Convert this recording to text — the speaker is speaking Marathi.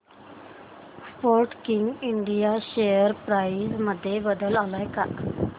स्पोर्टकिंग इंडिया शेअर प्राइस मध्ये बदल आलाय का